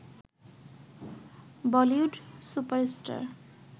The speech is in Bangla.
Bollywood super star